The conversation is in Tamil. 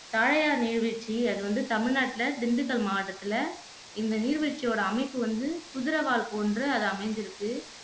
தாயார் நீர்வீழ்ச்சி அது வந்து தமிழ்நாட்டுல திண்டுக்கல் மாவட்டத்துல இந்த நீர்வீழ்ச்சியோட அமைப்பு வந்து குதிரைவால் போன்று அது அமைஞ்சிருக்கு